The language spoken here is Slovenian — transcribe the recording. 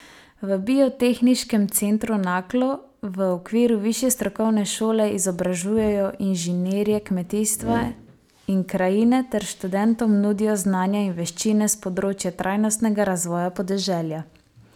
V Biotehniškem centru Naklo v okviru Višje strokovne šole izobražujejo inženirje kmetijstva in krajine ter študentom nudijo znanja in veščine s področja trajnostnega razvoja podeželja.